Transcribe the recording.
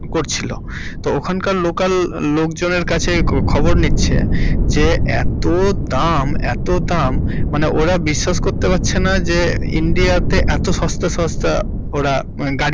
করছিল। তো ওখানকার local লোকজনের কাছে খবর নিচ্ছে যে এতো দাম~ এতো দাম মানে ওরা বিশ্বাস করতে পারছেনা যে ইন্ডিয়া তে এতো সস্তা~ সস্তা ওরা গাড়ি পেতে পারে। আর আমাদের এখানে।